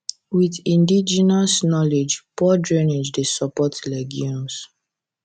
with indigenous knowledge poor drainage dey support legumes